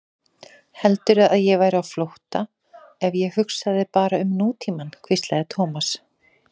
Heldurðu að ég væri á flótta ef ég hugsaði bara um nútímann? hvíslaði Thomas.